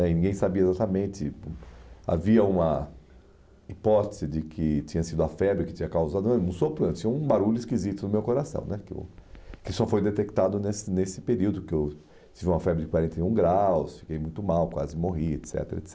é, e ninguém sabia exatamente, havia uma hipótese de que tinha sido a febre que tinha causado o sopro, tinha um barulho esquisito no meu coração né, que eu que só foi detectado nesse período que eu tive uma febre de quarenta e um graus, fiquei muito mal, quase morri, et cetera, et